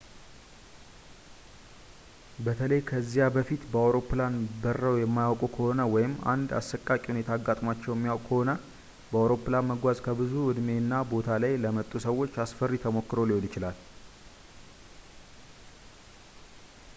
በተለይ ከዚያ በፊት በአውሮፕላን በረው የማያውቁ ከሆነ ወይም አንድ አሰቃቂ ሁኔታ አጋጥሟቸው የሚያውቅ ከሆነ በአውሮፕላን መጓዝ ከብዙ እድሜ እና ቦታ ላይ ለመጡ ሰዎች አስፈሪ ተሞክሮ ሊሆን ይችላል